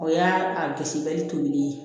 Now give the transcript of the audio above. O y'a a gosili tobili ye